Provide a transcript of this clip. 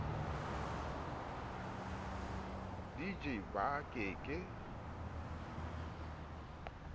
di je ba ke ke